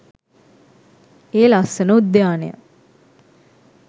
ඒ ලස්සන උද්‍යානය